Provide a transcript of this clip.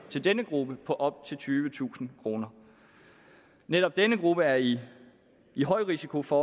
til denne gruppe på op til tyvetusind kroner netop denne gruppe er i i højrisiko for